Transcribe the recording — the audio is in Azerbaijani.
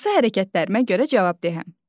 Hansı hərəkətlərimə görə cavabdehəm?